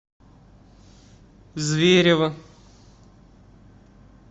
зверево